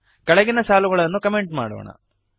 ಕೆಳಗಿನ ಸಾಲುಗಳನ್ನು ಕಮೆಂಟ್ ಮಾಡೋಣ